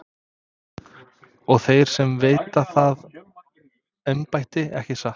Og þeir sem veita það embætti, ekki satt?